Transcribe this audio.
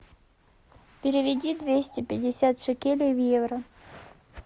переведи двести пятьдесят шекелей в евро